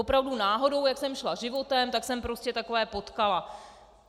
Opravdu náhodou, jak jsem šla životem, tak jsem prostě takové potkala.